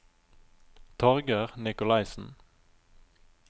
Torger Nikolaisen